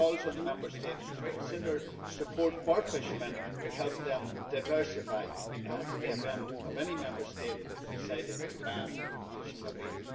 It calls on the Member States to consider support for fishermen to help them diversify in the event of any Member State deciding to ban the fishing of eel.